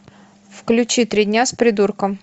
включи три дня с придурком